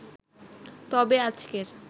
তবে আজকের